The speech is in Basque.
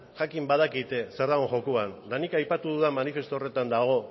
jakin badakite zer dagoen jokoan eta nik aipatu dudan manifestu horretan dago